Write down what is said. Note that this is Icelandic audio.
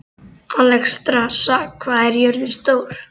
Alexstrasa, hvað er jörðin stór?